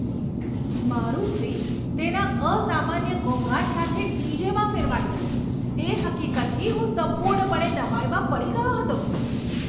મારું ફ્રિજ તેના અસામાન્ય ઘોંઘાટ સાથે ડીજેમાં ફેરવાઈ ગયું, તે હકીકતથી હું સંપૂર્ણપણે નવાઈમાં પડી ગયો હતો!